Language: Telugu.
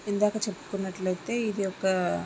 ఇందాక చెప్పుకున్నట్లయితే ఇది ఒకా --